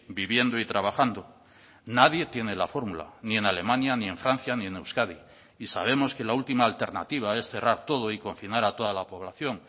viviendo y trabajando nadie tiene la fórmula ni en alemania ni en francia ni en euskadi y sabemos que la última alternativa es cerrar todo y confinar a toda la población